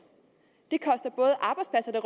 det